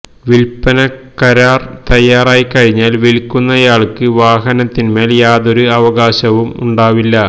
വിൽപന കരാർ തയ്യാറായി കഴിഞ്ഞാൽ വിൽക്കുന്നയാൾക്ക് വാഹനത്തിന് മേൽ യാതൊരു അവകാശവും ഉണ്ടാവില്ല